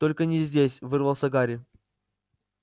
только не здесь вырвался гарри